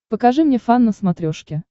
покажи мне фан на смотрешке